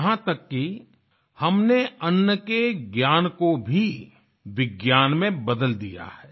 यहाँ तक कि हमने अन्न के ज्ञान को भी विज्ञान में बदल दिया है